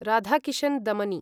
Radhakishan Damani